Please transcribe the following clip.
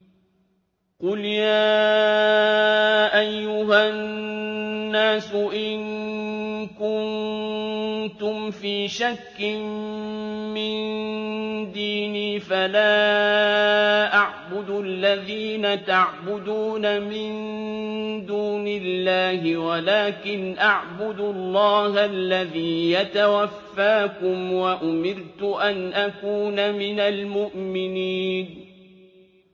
قُلْ يَا أَيُّهَا النَّاسُ إِن كُنتُمْ فِي شَكٍّ مِّن دِينِي فَلَا أَعْبُدُ الَّذِينَ تَعْبُدُونَ مِن دُونِ اللَّهِ وَلَٰكِنْ أَعْبُدُ اللَّهَ الَّذِي يَتَوَفَّاكُمْ ۖ وَأُمِرْتُ أَنْ أَكُونَ مِنَ الْمُؤْمِنِينَ